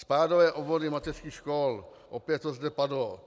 Spádové obvody mateřských škol - opět to zde padlo.